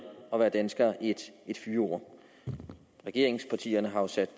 at være dansker et fyord regeringspartierne har jo sat